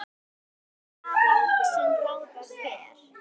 Hann kvað hugsjón ráða ferð.